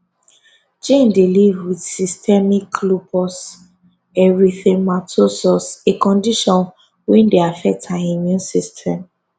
jane dey live wit systemic lupus erythematosus a condition wey dey affect her immune system